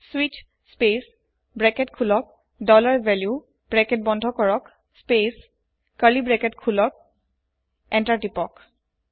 স্বিচ space open bracket dollar value close bracket space open curly bracket enter তিপক